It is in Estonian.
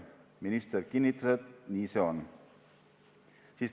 Minister kinnitas, et nii see on.